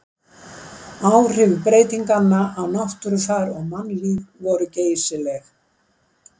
áhrif breytinganna á náttúrufar og mannlíf voru geysileg